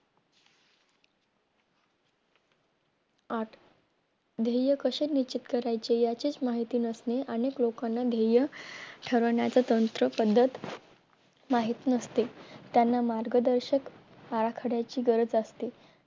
गाठवून ध्येय कसे निश्चित करायचे याचीच माहिती नसली आणि लोकांना ध्येय ठरवण्याचं तंत्र पद्धत माहित नसते त्यांना मार्गदर्शक बाराखडाची गरज असते